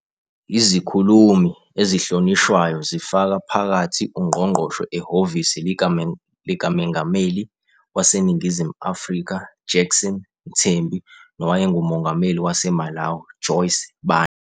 Izikhulumi ezihlonishwayo zifaka phakathi ungqongqoshe ehhovisi likaMengameli waseNingizimu Afrika Jackson Mthembu nowayengumongameli waseMalawi Joyce Banda.